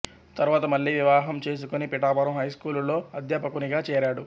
తరువాత మళ్ళీ వివాహం చేసుకొని పిఠాపురం హైస్కూలులో అధ్యాపకునిగా చేరాడు